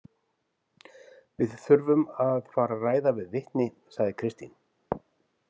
Við þurfum að fara að ræða við vitni, sagði Kristín.